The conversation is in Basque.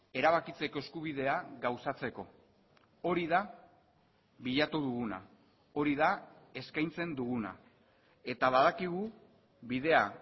erabakitzeko eskubidea gauzatzeko hori da bilatu duguna hori da eskaintzen duguna eta badakigu bidea